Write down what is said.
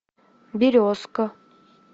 березка